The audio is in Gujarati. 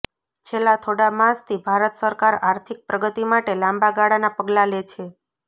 છેલ્લા થોડા માસથી ભારત સરકાર આર્થિક પ્રગતિ માટે લાંબા ગાળાના પગલાં લે છે